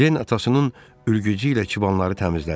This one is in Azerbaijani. Den atasının ülğücü ilə çibanları təmizlədi.